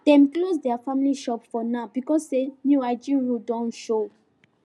dem close their family shop for now because say new hygiene rule Accepted show